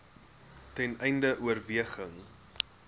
ten einde oorweging